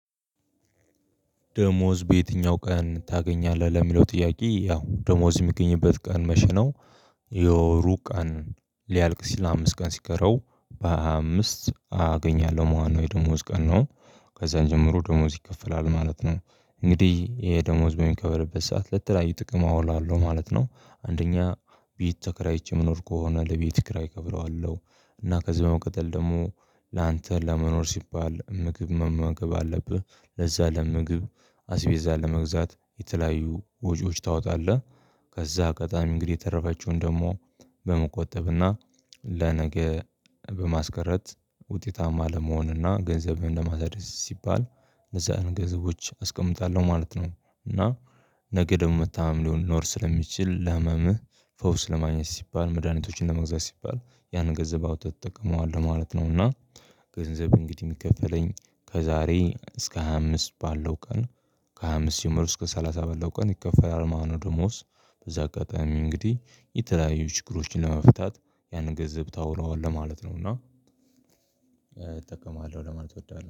ደሞዝ በየትኛው ቀን ታገኛለህ ለሚለው ጥያቄ ያው ደሞዝ የሚገኝበት ቀን መቼ ነው? የወሩ ቀን ሊያልቅ ሲል አምስት ቀን ሲቀረው በሃያ አምስት አገኛለሁ ማለት ነው የደሞዝ ቀን ነው። ከዛ ጀምሮ ደሞዝ ይከፈላል ማለት ነው። እንግዲህ ይሄ ደሞዝ በሚከፈልበት ሰዓት ለተለያዩ ጥቅም አውላለሁ ማለት ነው አንደኛ ቤት ተከራይቼ ምኖር ከሆነ ለቤት ክራይ እከፍለዋለሁ። እና ከዚህ በመቅጠል ደግሞ ላንተ ለመኖር ሲባል ምግብ መማገብ አለብህ ለዛ ለምግብ አስቤዛ ለመግዛት የተለያዩ ወጪዎች ታወጣለህ። ከዛ አጋጣሚ የተረፈችዉን ደግሞ እንግዲህ የተረፈችውን ደግሞ በመቆጠብና ለነገ በማስቀረት ውጤታማ ለመሆንና ገንዘብህን ለማድረስ ሲባል እነዛን ገንዘቦች አስቀምጣለሁ ማለት ነው። እና ነገ ደግሞ መታመም ሊሆን ሊኖር ስለሚችል ለህመምህ ፈውስ ለማግኘት ሲባል መድሃኒቶችን ለመግዛት ሲባል ያንን ገንዘብ አውጥተህ ትጠቀመዋለህ ማለት ነው። እና ገንዘብ እንግዲህ የሚከፈለኝ ከዛሬ እስከ ሃያ አምስት ባለው ቀን ከሃያ አምስት ጀመሮ እስከ ሰላሳ ባለው ቀን ይከፈላል ማለት ነው። ደሞዝ በዛ አጋጣሚ እንግዲህ የተለያዩ ችግሮችን ለመፍታት ያንን ገንዘብ ታውለዋለህ ማለት ነው። እና እጠቀማለሁ ለማለት እወዳለሁ